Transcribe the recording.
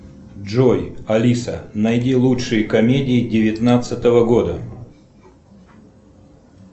джой алиса найди лучшие комедии девятнадцатого года